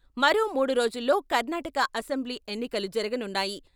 మరో మూడు రోజుల్లో కర్ణాటక అసెంబ్లీ ఎన్నికలు జరగనున్నాయి.